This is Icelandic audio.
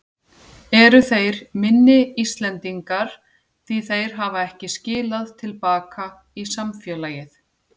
Eru þeir minni Íslendingar því þeir hafa ekki skilað til baka í samfélagið?